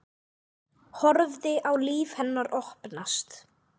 Horfi á líf hennar opnast.